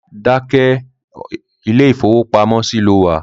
Keep quiet, this is bank